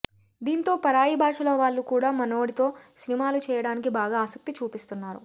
దీంతో పరాయి భాషల వాళ్లు కూడా మనోడితో సినిమాలు చేయడానికి బాగా ఆసక్తి చూపిస్తున్నారు